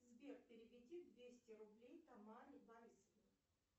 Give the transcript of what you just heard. сбер переведи двести рублей тамаре борисовне